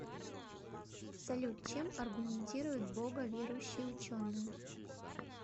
салют чем аргументируют бога верующие ученые